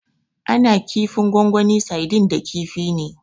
Ana yin kifin gongoni Saidin da kifi ne.